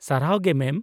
ᱥᱟᱨᱦᱟᱣ ᱜᱮ ᱢᱮᱢ ᱾